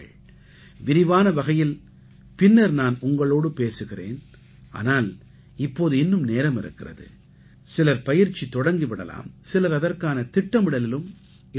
விரிவான வகையில் பின்னர் நான் உங்களோடு பேசுகிறேன் ஆனால் இப்போது இன்னும் நேரமிருக்கிறது சிலர் பயிற்சி தொடங்கி விடலாம் சிலர் அதற்கான திட்டமிடலிலும் ஈடுபடலாம்